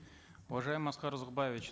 уважаемый аскар узакбаевич